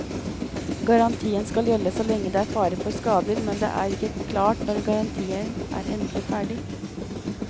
Garantien skal gjelde så lenge det er fare for skader, men det er ikke klart når garantien er endelig ferdig.